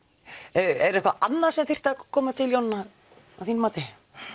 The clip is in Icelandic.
er eitthvað annað sem þyrfti að koma til Jónína að þínu mati